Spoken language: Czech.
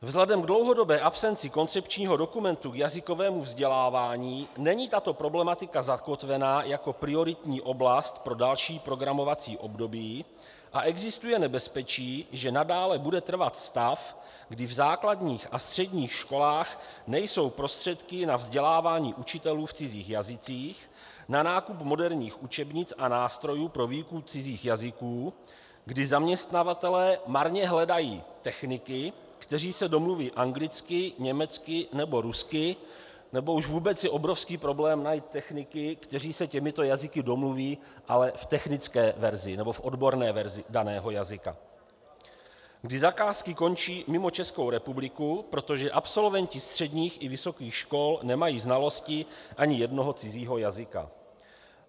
Vzhledem k dlouhodobé absenci koncepčního dokumentu k jazykovému vzdělávání není tato problematika zakotvena jako prioritní oblast pro další programovací období a existuje nebezpečí, že nadále bude trvat stav, kdy v základních a středních školách nejsou prostředky na vzdělávání učitelů v cizích jazycích, na nákup moderních učebnic a nástrojů pro výuku cizích jazyků, kdy zaměstnavatelé marně hledají techniky, kteří se domluví anglicky, německy nebo rusky, nebo už vůbec je obrovský problém najít techniky, kteří se těmito jazyky domluví, ale v technické verzi nebo v odborné verzi daného jazyka, kdy zakázky končí mimo Českou republiku, protože absolventi středních i vysokých škol nemají znalosti ani jednoho cizího jazyka.